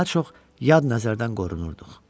daha çox yad nəzərdən qorunurduq.